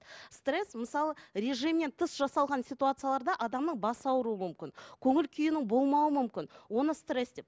стресс мысалы режимнен тыс жасалған ситуацияларда адамның басы ауруы мүмкін көңіл күйінің болмауы мүмкін оны стресс деп